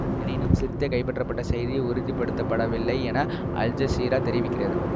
எனினும் சிர்தே கைப்பற்றப்பட்ட செய்தி உறுதிப்படுத்த படவில்லை என அல்ஜசீரா தெரிவிக்கிறது